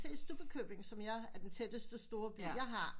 Jeg kan se Stubbekøbing som jeg er den tætteste storby jeg har